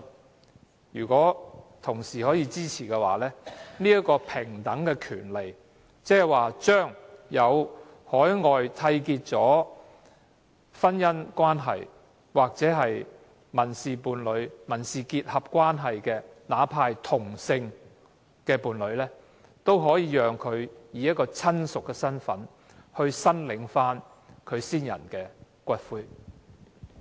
我希望同事支持這個平等的權利，即讓海外締結的婚姻、民事伴侶或民事結合的另一方，哪怕是同性的伴侶，以親屬的身份來申領其去世伴侶的骨灰。